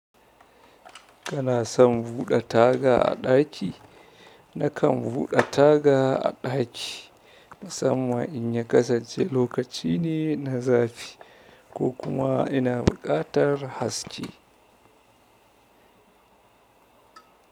Kana son buɗe taga a ɗaki? Nakan buɗe taga a ɗaki musamman in ya kasance lokaci ne na zafi ko kuma ina buƙatar haske.